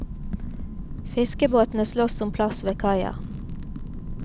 Fiskebåtene slåss om plass ved kaia.